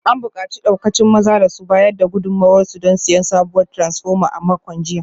An bukaci daukacin mazan da su bayar da gudunmuwarsu don siyan sabuwar taransfoma a makon jiya